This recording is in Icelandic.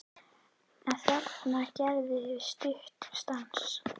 En þarna gerðum við stuttan stans